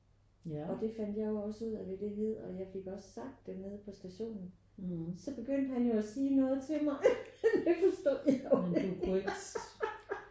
Og det fandt jeg jo også ud af hvad det hed og jeg fik også sagt det nede på stationen. Så begyndte han jo at sige noget til mig og det forstod jeg jo ikke